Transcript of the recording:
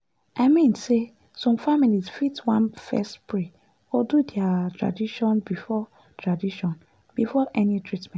i mean say some families fit wan first pray or do their tradition before tradition before any treatment.